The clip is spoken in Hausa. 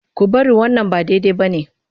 Ku bari wannan ba daidai ba ne!